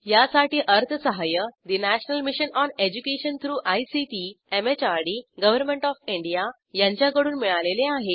यासाठी अर्थसहाय्य national mission on education through ICT MHRD government of India यांच्याकडून मिळालेले आहे